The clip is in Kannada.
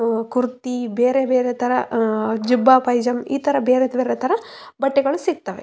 ಇದು ಮೆನ್ಸ ವಿಯರ ಸೆಕ್ಷನ್ನು ಇದನ್ನ ನಾವು ಬಟ್ಟೆ ಅಂಗಡಿಗಳಲ್ಲಿ ಕಾಣಬಹುದು ಇಲ್ಲಿ ಅಹ್‌ ಅಹ್‌ ಗಂಡ ಮಕ್ಕಳಿಗೆ ಯಾವದೆ ರಿತಿಯಾದಂತಹ--